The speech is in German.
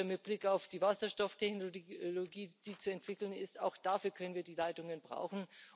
Mit Blick auf die Wasserstofftechnologie, die zu entwickeln ist auch dafür können wir die Leitungen brauchen.